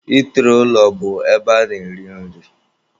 Itiri ụlọ bụ ebe a na-eri nri.